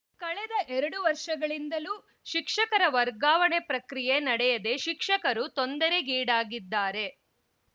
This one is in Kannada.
ಕಳೆದ ಎರಡು ವರ್ಷಗಳಿಂದಲೂ ಶಿಕ್ಷಕರ ವರ್ಗಾವಣೆ ಪ್ರಕ್ರಿಯೆ ನಡೆಯದೆ ಶಿಕ್ಷಕರು ತೊಂದರೆಗೀಡಾಗಿದ್ದಾರೆ